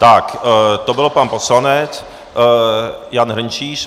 Tak, to byl pan poslanec Jan Hrnčíř.